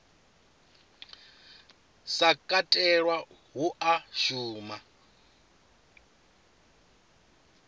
sa katelwa hu a shuma